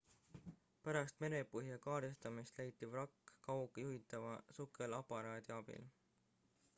pärast merepõhja kaardistamist leiti vrakk kaugjuhitava sukelaparaadi rov abil